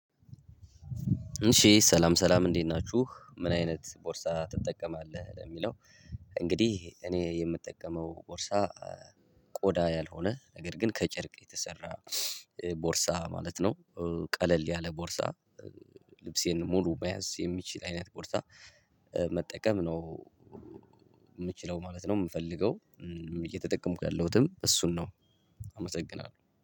እሺ ሰላም ሰላም እንዴት ናችሁ ምን አይነት ቦርሳ ትጠቀማለህ ለሚለው? እንግዲህ እኔ የምጠቀመው ቦርሳ ቆዳ ያልሆነ ነገር ግን ከጨርቅ የተሰራ ቦርሳ ማለት ነው። ቀለል ያለ ቦርሳ ልብሴን ሙሉ መያዝ የሚችል አይነት ቦርሳ መጠቀም ነው። የምችለው ማለት ነው የምፈልገው። እየተጠቀምኩ ያለሁትም እሱን ነው። አመሰግናለሁ